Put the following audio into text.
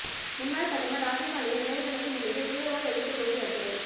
முன்னாள் பிரதமர் ராஜீவ்காந்தியின் நினைவு தினத்தை முன்னிட்டு தீவிரவாத எதிர்ப்பு ஜோதி யாத்திரை